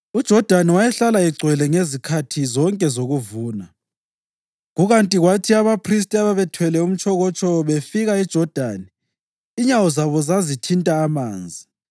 UJodani wayehlala egcwele ngezikhathi zonke zokuvuna. Kukanti kwathi abaphristi ababethwele umtshokotsho befika eJodani inyawo zabo zazithinta amanzi,